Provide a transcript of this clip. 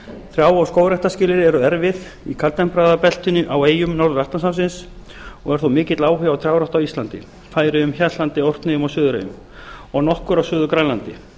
trjá og skógræktarskilyrði eru erfið í kaldtempraða beltinu á eyjum norður atlantshafsins og er þó mikill áhugi á trjárækt á íslandi færeyjum hjaltlandi orkneyjum og suðureyjum og nokkur á suður grænlandi